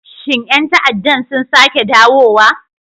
Shin 'yan ta'addan sun sake dawowa?